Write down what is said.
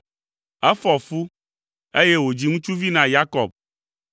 efɔ fu, eye wòdzi ŋutsuvi na Yakob.